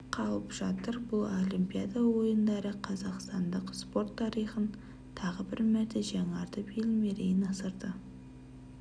қалып жатыр бұл олимпиада ойындары қазақстандық спорт тарихын тағы бір мәрте жаңартып ел мерейін асырды